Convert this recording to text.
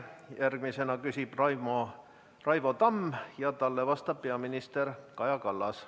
Järgmisena küsib Raivo Tamm ja talle vastab peaminister Kaja Kallas.